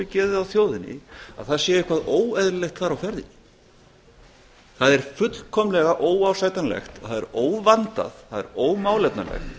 geðið á þjóðinni að það sé eitthvað óeðlilegt þar á ferðinni það er fullkomlega óásættanlegt það er óvandað það er ómálefnalegt